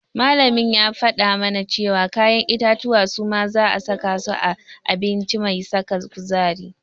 Malamin ya faɗa mana cewa kayan itatuwa suma za'a saka su a abinci mai saka kuzari.